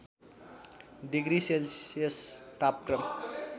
degree Celsius तापक्रम